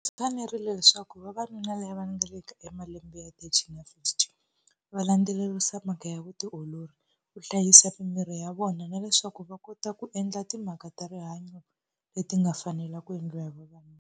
Swi fanerile leswaku vavanuna lava nga le ka malembe ya thirty na fifty va landzelerisa mhaka ya vutiolori, ku hlayisa mimiri ya vona na leswaku va kota ku endla timhaka ta rihanyo leti nga fanela ku endliwa hi vavanuna.